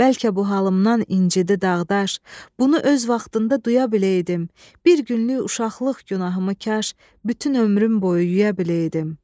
Bəlkə bu halımdan incidi daş, bunu öz vaxtında duya biləydim, bir günlük uşaqlıq günahımı kaş bütün ömrüm boyu yuya biləydim.